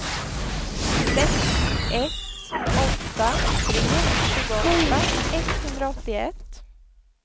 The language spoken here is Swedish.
sex ett åtta tre tjugoåtta etthundraåttioett